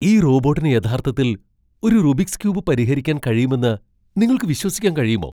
ഈ റോബോട്ടിന് യഥാർത്ഥത്തിൽ ഒരു റുബിക്സ് ക്യൂബ് പരിഹരിക്കാൻ കഴിയുമെന്ന് നിങ്ങൾക്ക് വിശ്വസിക്കാൻ കഴിയുമോ?